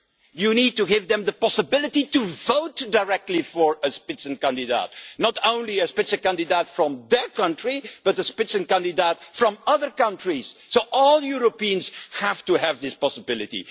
You need to give them the possibility to vote directly for a Spitzenkandidat, not only a Spitzenkandidat from their country, but the Spitzenkandidaten from other countries, so all Europeans have to have this possibility.